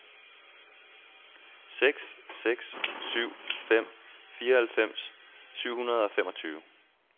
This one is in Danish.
seks seks syv fem fireoghalvfems syv hundrede og femogtyve